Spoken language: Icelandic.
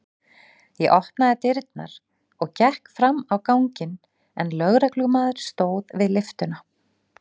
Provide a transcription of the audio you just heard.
Ég opnaði dyrnar og gekk fram á ganginn en lögreglumaður stóð við lyftuna.